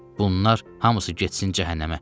Bunlar hamısı getsin cəhənnəmə.